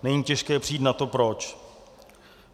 Není těžké přijít na to proč.